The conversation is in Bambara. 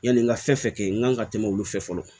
Yani n ka fɛn fɛn kɛ n kan ka tɛmɛ olu fɛ fɔlɔ